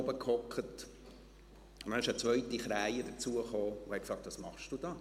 Dann kam eine zweite Krähe hinzu und fragte: «Was machst du da?».